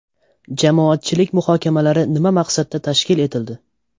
Jamoatchilik muhokamalari nima maqsadda tashkil etildi?